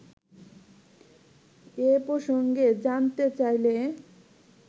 এ প্রসঙ্গে জানতে চাইলে